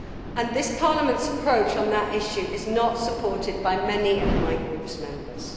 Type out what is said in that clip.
And this Parliament's approach on that issue is not supported by many of my group's members.